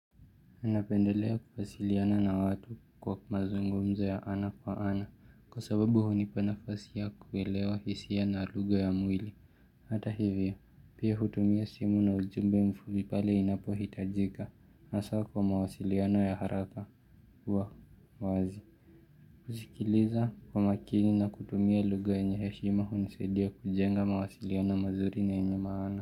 Ninapendelea kuwasiliana na watu kwa mazungumzo ya ana kwa ana kwa sababu hunipa nafasi ya kuelewa hisia na lugha ya mwili. Hata hivyo, pia hutumia simu na ujumbe mfupi pale inapo hitajika. Asa kwa mawasiliano ya haraka. Uwa, wazi. Kusikiliza kwa makini na kutumia lugha yenye heshima hunisaidia kujenga mawasiliano mazuri na yenye maana.